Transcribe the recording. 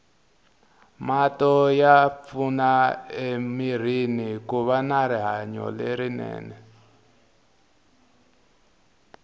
mati ya pfuna emirini kuva na rihanolerinene